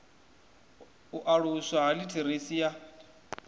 u aluswa ha litheresi ya